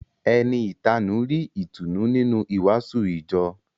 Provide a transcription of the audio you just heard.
Ẹni ìtanú rí ìtùnú nínú ìwàásù ìjọ